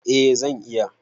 Eh zan iya.